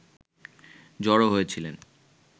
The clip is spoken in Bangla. জড়ো হয়েছিলেন